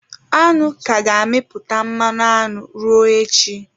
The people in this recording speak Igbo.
Aṅụ ka ga-amịpụta mmanụ aṅụ ruo echi.